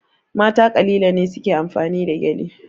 Mata kalilan ne su ke amfani da gyale.